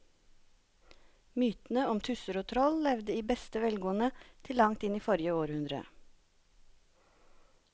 Mytene om tusser og troll levde i beste velgående til langt inn i forrige århundre.